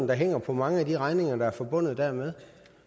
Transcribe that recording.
der hænger på mange af de regninger der er forbundet dermed